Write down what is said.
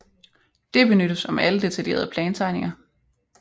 Det benyttes om alle detaljerede plantegninger